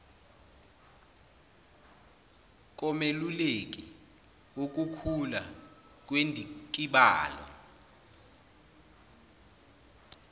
komeluleki wukukhula kwendikibalo